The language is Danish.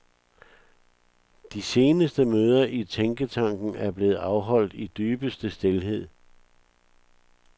De seneste møder i tænketanken er blevet afholdt i dybeste stilhed.